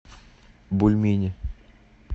бульмени